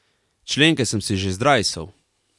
Členke sem si že zdrajsal.